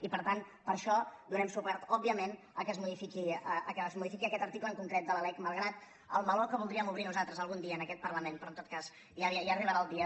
i per tant per això donem suport òbviament que es modifiqui aquest article en concret de la lec malgrat el meló que voldríem obrir nosaltres algun dia en aquest parlament però en tot cas ja arribarà el dia